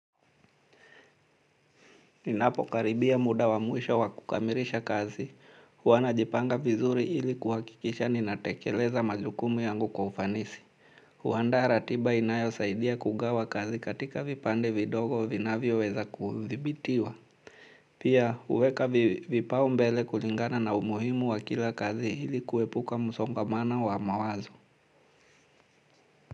Ninapo karibia muda wa mwisho wa kukamirisha kazi, huwa najipanga vizuri hili kuhakikisha ninatekeleza majukumu yangu kwa ufanisi. Huanda ratiba inayosaidia kugawa kazi katika vipande vidogo vinavioweza kudhibitiwa. Pia uweka vipao mbele kulingana na umuhimu wa kila kazi hili kuepuka musongomano wa mawazo.